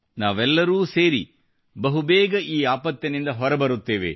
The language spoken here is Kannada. ನಾವೆಲ್ಲರೂ ಸೇರಿ ಬಹುಬೇಗ ಈ ಆಪತ್ತಿನಿಂದ ಹೊರಬರುತ್ತೇವೆ